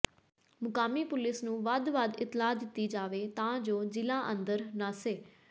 ਮੁਕਾਮੀ police ਨੂੰ ਵੱਧ ਵੱਧ ਇਤਲਾਹ ਦਿੱਤੀ ਜਾਵੇ ਤਾਂ ਜੋ ਜਿਲਾ ਅੰਦਰ ਨਸਿ